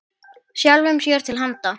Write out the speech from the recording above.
Sjálfum sér til handa.